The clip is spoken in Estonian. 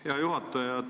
Hea juhataja!